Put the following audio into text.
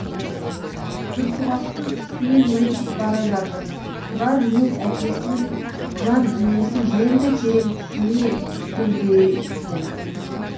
түлкібастың үстінен өтіп бара жатыр тұрар өз әкесінің жан дүниесін енді терең түсіне түскендей болды